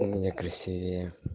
у меня красивее